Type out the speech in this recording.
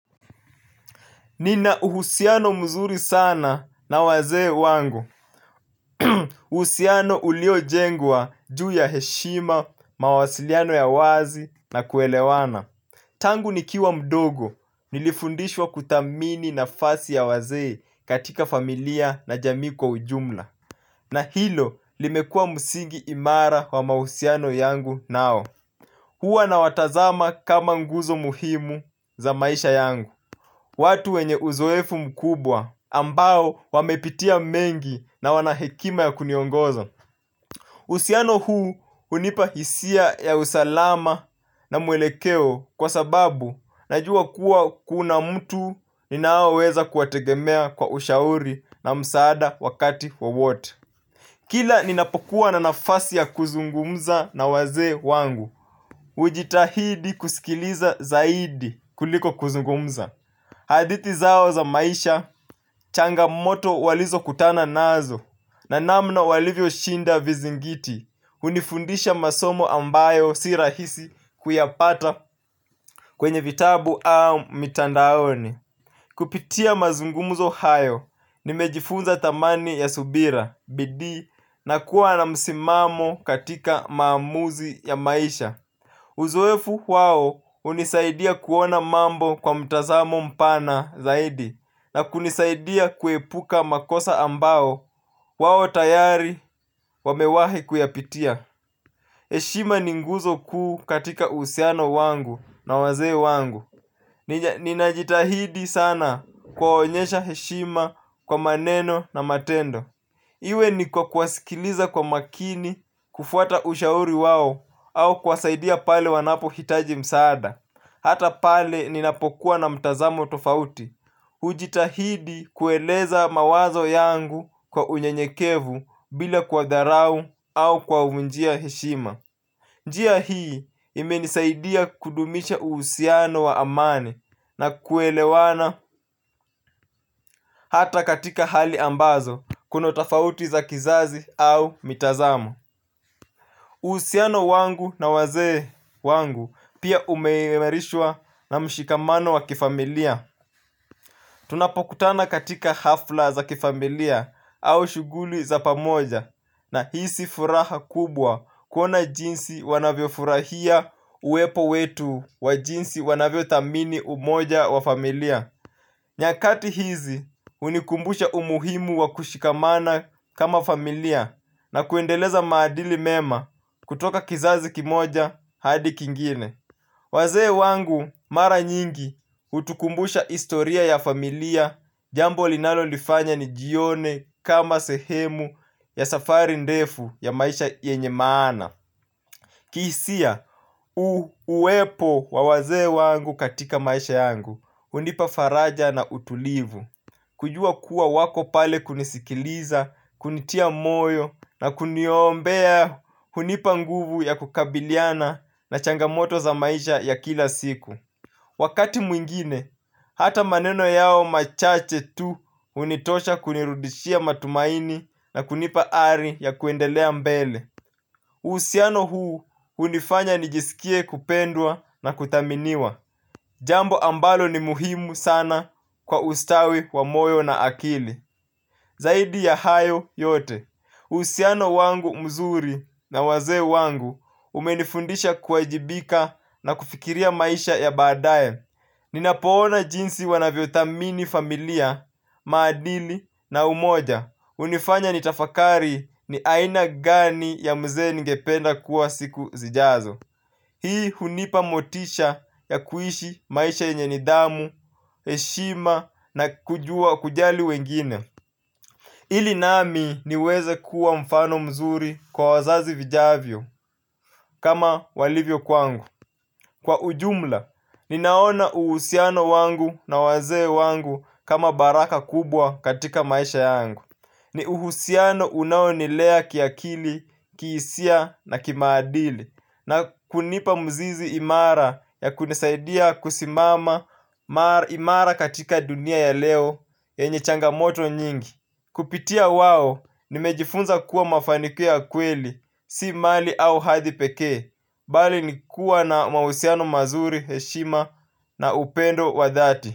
Nina uhusiano mzuri sana na wazee wangu. Uhusiano ulio jengwa juu ya heshima, mawasiliano ya wazi na kuelewana. Tangu nikiwa mdogo, nilifundishwa kuthamini nafasi ya wazee katika familia na jami kwa ujumla. Na hilo limekua msingi imara wa mahusiano yangu nao. Huwa nawatazama kama nguzo muhimu za maisha yangu. Watu wenye uzoefu mkubwa ambao wamepitia mengi na wanahekima ya kuniongoza husiano huu hunipa hisia ya usalama na mwelekeo kwa sababu najua kuwa kuna mtu ninaoweza kuwategemea kwa ushauri na msaada wakati wowote. Kila ninapokuwa na nafasi ya kuzungumza na wazee wangu. Ujitahidi kusikiliza zaidi kuliko kuzungumza. Hadithi zao za maisha changamoto walizo kutana nazo na namna walivyo shinda vizingiti hunifundisha masomo ambayo si rahisi kuyapata kwenye vitabu au mitandaoni. Kupitia mazungumzo hayo nimejifunza thamani ya subira bidii na kuwa na msimamo katika maamuzi ya maisha. Uzoefu wao hunisaidia kuona mambo kwa mtazamo mpana zaidi na kunisaidia kuepuka makosa ambao wao tayari wamewahi kuyapitia. Heshima ni nguzo kuu katika uhusiano wangu na wazee wangu. Ninajitahidi sana kuwaonyesha heshima kwa maneno na matendo. Iwe ni kwa kuwasikiliza kwa makini, kufuata ushauri wao au kuwasaidia pale wanapo hitaji msaada, hata pale ninapokuwa na mtazamo tofauti, ujitahidi kueleza mawazo yangu kwa unyenyekevu bila kwa dharau au kwa njia heshima. Njia hii imenisaidia kudumisha uhusiano wa amani na kuelewana hata katika hali ambazo kuna utofauti za kizazi au mitazamo. Uhusiano wangu na wazee wangu pia umeimarishwa na mshikamano wa kifamilia. Tunapokutana katika hafla za kifamilia au shughuli za pamoja nahisi furaha kubwa kuona jinsi wanavyo furahia uwepo wetu wa jinsi wanavyo thamini umoja wa familia. Nyakati hizi hunikumbusha umuhimu wa kushikamana kama familia na kuendeleza maadili mema kutoka kizazi kimoja hadi kingine. Wazee wangu mara nyingi hutukumbusha historia ya familia jambo linalo lifanya nijione kama sehemu ya safari ndefu ya maisha yenye maana. Kihisia, uwepo wa wazee wangu katika maisha yangu hunipa faraja na utulivu. Kujua kuwa wako pale kunisikiliza, kunitia moyo na kuniombea hunipa nguvu ya kukabiliana na changamoto za maisha ya kila siku. Wakati mwingine hata maneno yao machache tu hunitosha kunirudishia matumaini na kunipa ari ya kuendelea mbele. Uhusiano huu hunifanya nijisikie kupendwa na kuthaminiwa jambo ambalo ni muhimu sana kwa ustawi wa moyo na akili. Zaidi ya hayo yote uhusiano wangu mzuri na wazee wangu umenifundisha kuwajibika na kufikiria maisha ya badaye. Ninapoona jinsi wanavyo thamini familia maadili na umoja hunifanya nitafakari ni aina gani ya mzee ningependa kuwa siku zijazo. Hii hunipa motisha ya kuishi maisha yenye nidhamu, heshima na kujali wengine ili nami niweze kuwa mfano mzuri kwa wazazi vijavyo kama walivyo kwangu. Kwa ujumla, ninaona uhusiano wangu na wazee wangu kama baraka kubwa katika maisha yangu. Ni uhusiano unaonilea kiakili, kihisia na kimaadili na kunipa mzizi imara ya kunisaidia kusimama imara katika dunia ya leo enye changamoto nyingi. Kupitia wao, nimejifunza kuwa mafanikio ya kweli, si mali au hadhi pekee bali ni kuwa na mahusiano mazuri, heshima na upendo wa dhati.